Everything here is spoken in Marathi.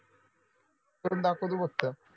करून दाखव तू फक्त